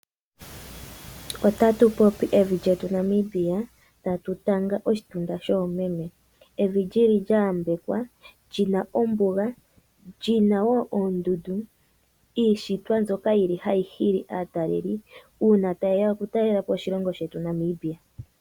Ota tupopi evi lyetu Namibia, Tatu tanga oshitunda shomeme, evi lili lya yambekwa lyina ombuga, lina woo oondundu ,iishitwa mbyoka tayi hili aataleli uuna ta yeya oku talelapo oshilongo shetu Namibia.